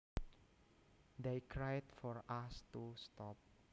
They cried for us to stop